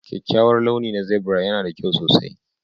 Kyakkyawar launi na zebra yana da kyau sosai